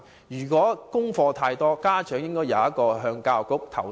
如果家課太多，家長應該有機制向教育局作出投訴。